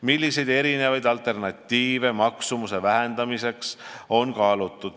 Milliseid erinevaid alternatiive maksumuse vähendamiseks on kaalutud?